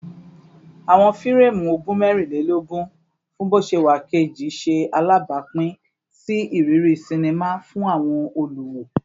Awọn fireemu ogun mẹrinlelogun fun boṣewa keji ṣe alabapin si iriri sinima fun awọn oluwo